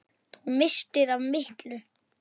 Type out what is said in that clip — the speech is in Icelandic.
Lilja, ég get þetta ekki.